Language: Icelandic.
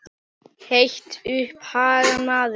Hertu upp hugann maður!